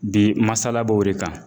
Bi masala b'o de kan.